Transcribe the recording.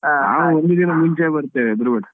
ನಾವು ಒಂದು ದಿನ ಮುಂಚೆನೇ ಬರ್ತೇವೆ ಹೆದ್ರಬೇಡ.